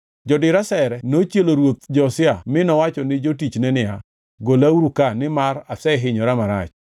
Jodir asere nochielo ruoth Josia mi nowacho ni jotichne niya, “Golauru ka nimar asehinyora marach.”